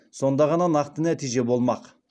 сонда ғана нақты нәтиже болмақ